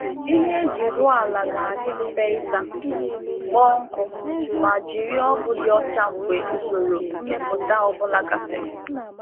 Ihe e ji um wụpụ um n’ala kwesịrị ịdị mfe ihicha, kpọọ akọrọ, ma gbasa um ọgwụ mgbochi nje mgbe e mesịrị oge mmepụta ọ bụla.